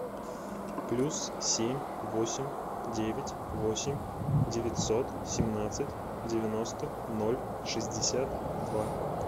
плюс семь восемь девять восемь девятьсот семнадцать девяносто ноль шестьдесят два